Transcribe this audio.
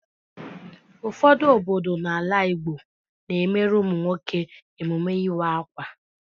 Ụfọdụ obodo n'ala Igbo na-emere ụmụ nwoke emume ịwa akwa.